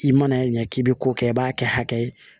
I mana ɲɛ k'i bɛ ko kɛ i b'a kɛ hakɛ ye